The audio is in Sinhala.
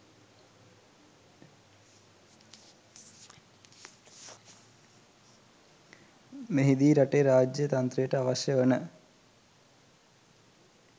මෙහිදී රටේ රාජ්‍ය තන්ත්‍රයට අවශ්‍ය වන